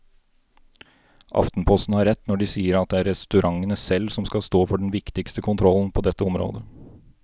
Aftenposten har rett når de sier at det er restaurantene selv som skal stå for den viktigste kontrollen på dette området.